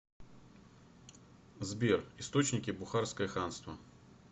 сбер источники бухарское ханство